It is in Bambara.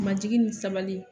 Majigi ni sabali